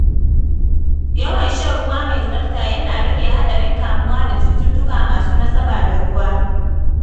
Yawan shan ruwa mai tsafta yana rage haɗarin kamuwa da cututtuka masu nasaba da ruwa.